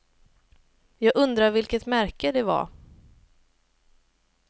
Jag undrar vilket märke det var.